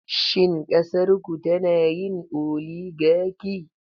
Shin ƙasarku tana yin oligaki?